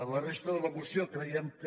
la resta de la moció creiem que